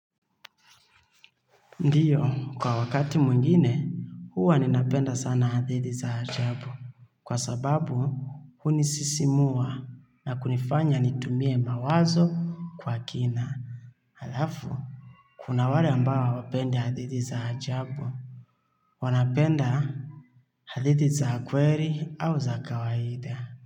Ndiyo, kwa wakati mwingine, huwa ninapenda sana hadithi za ajabu. Kwa sababu, hunisisimua na kunifanya nitumie mawazo kwa kina. Halafu, kuna wale ambao hawapendi hadithi za ajabu. Wanapenda hadithi za kweri au za kawaida.